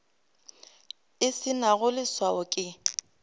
e se nago leswao ke